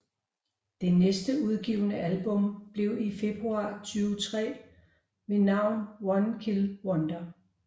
Det næste udgivne album blev i februar 2003 ved navn One Kill Wonder